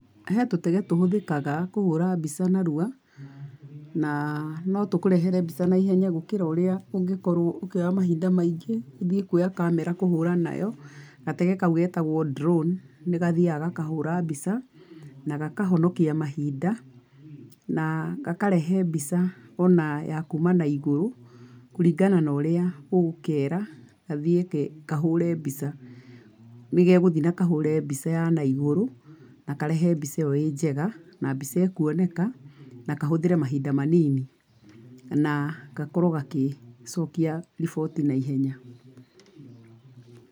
He tũtege tũhũthĩkaga kũhũra mbica narua ,na no tũkũrehe mbica naihenya gũkĩra ũrĩa ũngĩkorwo ũkĩoya mahinda maingĩ ũthiĩ kuoya kamera kũhũra nayo, gatege kau getagwo drone nĩgathiaga gakahũra mbica, na gakahonikia mahinda, na gakarehe mbica ona ya kũma na igũrũ, kũringana na ũria ũgũkeera gathiĩ kahũre mbica, nĩgegũthiĩ na kahũre mbica ya naigũrũ na karehe mbica ĩo ĩ njega, mbica ĩkuoneka na kahũthire mahinda manini na gakorwo gagĩcokia riboti naihenya.